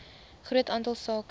groot aantal sake